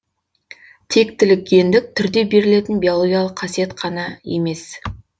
тектілік гендік түрде берілетін биологиялық қасиет қана емес